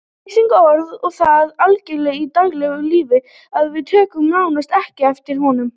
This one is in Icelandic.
Leysirinn er orðinn það algengur í daglegu lífi að við tökum nánast ekki eftir honum.